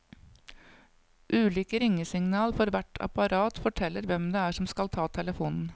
Ulike ringesignal for hvert apparat forteller hvem det er som skal ta telefonen.